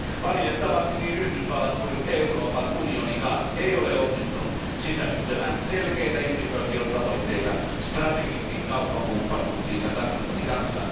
Valitettavasti niin Yhdysvallat kuin Euroopan unionikaan ei ole onnistunut sisällyttämään selkeitä ihmisoikeustavoitteita strategisiin kauppakumppanuuksiinsa Kazakstanin kanssa.